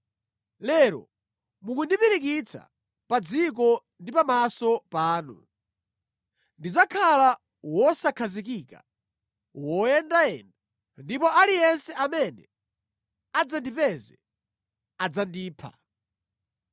Lero mukundipirikitsa pa dziko ndi pamaso panu; ndidzakhala wosakhazikika, woyendayenda, ndipo aliyense amene adzandipeze adzandipha.”